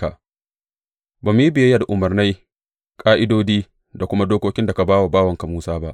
Ba mu yi biyayya da umarnai, ƙa’idodi da kuma dokokin da ka ba wa bawanka Musa ba.